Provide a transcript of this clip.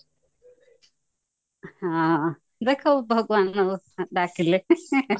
ହଁ ଦେଖାଉ ଭଗବାନ ଡାକିଲେ